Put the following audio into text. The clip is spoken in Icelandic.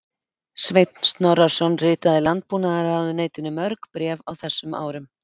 Sveinn Snorrason ritaði Landbúnaðarráðuneytinu mörg bréf á þessum árum.